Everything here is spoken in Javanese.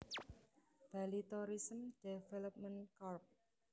Bali Tourism Development Corp